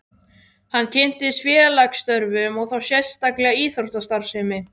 Hann kynntist félagsstörfum og þá sérstaklega íþróttastarfsemi.